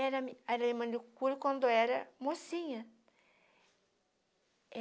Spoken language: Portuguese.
Era mi era manicure quando era mocinha.